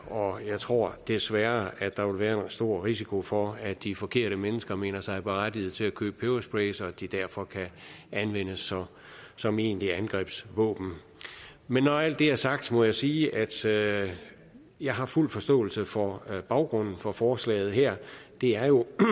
og jeg tror desværre at der vil være en stor risiko for at de forkerte mennesker mener sig berettigede til at købe pebersprays og at de derfor kan anvendes som egentligt angrebsvåben men når alt det er sagt må jeg sige at sige at jeg har fuld forståelse for baggrunden for forslaget her det er jo på